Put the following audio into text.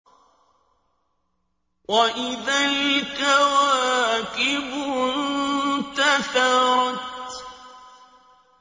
وَإِذَا الْكَوَاكِبُ انتَثَرَتْ